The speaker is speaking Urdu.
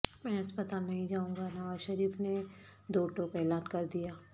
میں ہسپتال نہیں جائوں گا نوازشریف نے دوٹوک اعلان کردیا